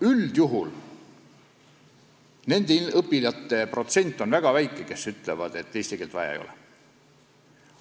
Üldjuhul on nende õpilaste protsent väga väike, kes ütlevad, et eesti keelt vaja ei ole.